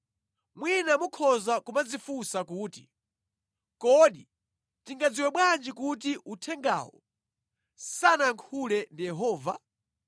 Mwina mukhoza kumadzifunsa kuti, “Kodi tingadziwe bwanji kuti uthengawu sanayankhule ndi Yehova?”